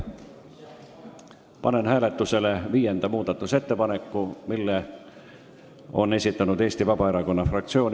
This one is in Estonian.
Panen hääletusele neljanda muudatusettepaneku, mille on esitanud Eesti Vabaerakonna fraktsioon.